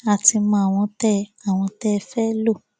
a ti mọ àwọn tẹ àwọn tẹ ẹ fẹẹ lò